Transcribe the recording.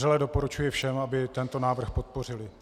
Vřele doporučuji všem, aby tento návrh podpořili.